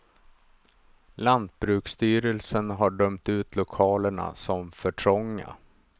Lantbruksstyrelsen har dömt ut lokalerna som för trånga.